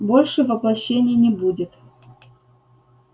больше воплощений не будет